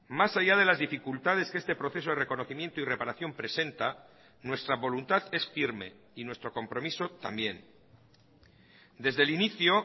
mas allá de las dificultades que este proceso de reconocimiento y reparación presenta nuestra voluntad es firme y nuestro compromiso también desde el inicio